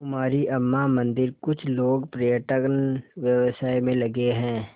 कुमारी अम्मा मंदिरकुछ लोग पर्यटन व्यवसाय में लगे हैं